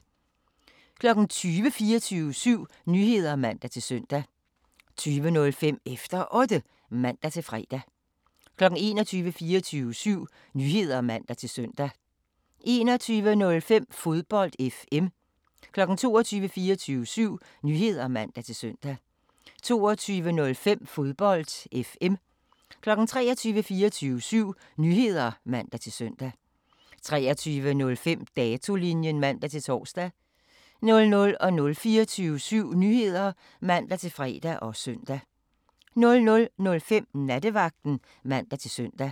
20:00: 24syv Nyheder (man-søn) 20:05: Efter Otte (man-fre) 21:00: 24syv Nyheder (man-søn) 21:05: Fodbold FM 22:00: 24syv Nyheder (man-søn) 22:05: Fodbold FM 23:00: 24syv Nyheder (man-søn) 23:05: Datolinjen (man-tor) 00:00: 24syv Nyheder (man-fre og søn) 00:05: Nattevagten (man-søn)